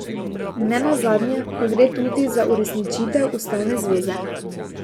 Nenazadnje pa gre tudi za uresničitev ustavne zaveze.